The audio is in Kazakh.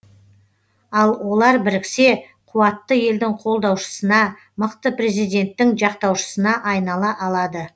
ал олар біріксе қуатты елдің қолдаушысына мықты президенттің жақтаушысына айнала алады